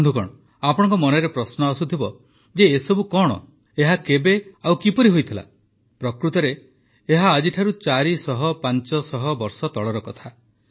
ବନ୍ଧୁଗଣ ଆପଣଙ୍କ ମନରେ ପ୍ରଶ୍ନ ଆସୁଥିବ ଯେ ଏସବୁ କଣ ଏହା କେବେ ଓ କିପରି ହୋଇଥିଲା ପ୍ରକୃତରେ ଏହା ଆଜିଠାରୁ ଚାରି ଶହ ପାଞ୍ଚ ଶହ ବର୍ଷ ତଳର କଥା